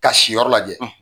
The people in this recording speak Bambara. Ka si yɔrɔ lajɛ.